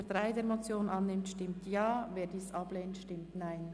Wer diese annimmt, stimmt Ja, wer diese ablehnt, stimmt Nein.